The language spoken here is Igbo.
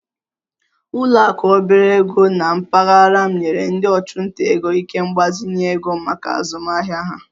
Ụlọ akụ obere ego na mpaghara m nyere ndị ọchụnta ego ike mgbazinye ego maka azụmahịa ha